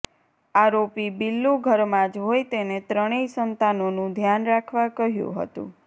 આરોપી બિલ્લુ ઘરમાં જ હોય તેને ત્રણેય સંતાનોનું ધ્યાન રાખવા કહ્યું હતું